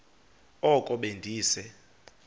oko be ndise